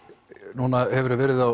núna hefurðu verið á